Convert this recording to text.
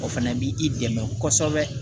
O fana bi i dɛmɛ kosɛbɛ